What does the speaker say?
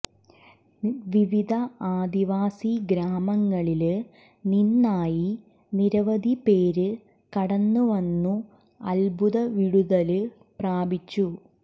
വിവിധ ആദിവാസി ഗ്രാമങ്ങളില് നിന്നായി നിരവധി പേര് കടന്നുവന്നു അത്ഭുത വിടുതല് പ്രാപിച്ചു